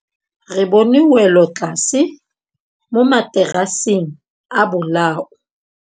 Re bone wêlôtlasê mo mataraseng a bolaô.